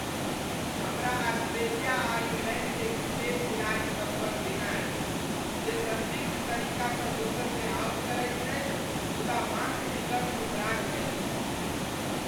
हमरा ऑस्ट्रेलिया आ इंगलैण्डके क्रिकेट खिलाड़ीसभसँ घृणा अछि जे सन्दिग्ध तरीकासँ दोसरकेँ आउट करैत छथि मुदा मांकडिंगक उपराग दैत छथि।